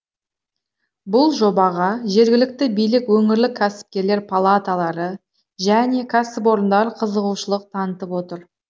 бұл жобаға жергілікті билік өңірлік кәсіпкерлер палаталары және кәсіпорындар қызығушылық танытып отыр